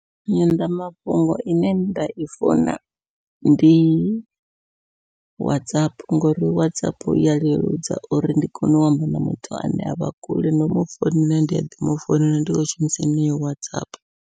Nyanḓamafhungo ine nda i funa ndi WhatsApp, ngori WhatsApp iya leludza uri ndi kone u amba na muthu ane avha kule no mufounela ndi a ḓi mufounela ndi khou shumisa yeneyo WhatsApp.